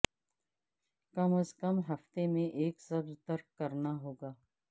کم از کم ہفتے میں ایک سبز ترک کرنا ہوگا